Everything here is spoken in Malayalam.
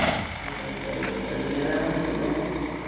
വൈകുന്നേരമാണോ കല്യാണം?